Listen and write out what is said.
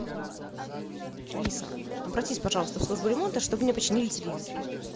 алиса обратись пожалуйста в службу ремонта чтобы мне починили телевизор